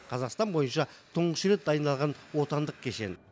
қазақстан бойынша тұңғыш рет дайындалған отандық кешен